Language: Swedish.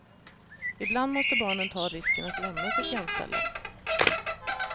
Ibland måste barnen ta risken att lämna sitt gömställe.